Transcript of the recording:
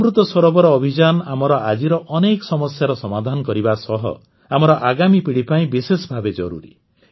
ଅମୃତ ସରୋବର ଅଭିଯାନ ଆମର ଆଜିର ଅନେକ ସମସ୍ୟାର ସମାଧାନ କରିବା ସହ ଆମର ଆଗାମୀ ପିଢ଼ି ପାଇଁ ବିଶେଷ ଭାବେ ଜରୁରୀ